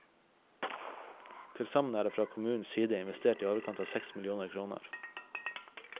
Til sammen er det fra kommunens side investert i overkant av seks millioner kroner.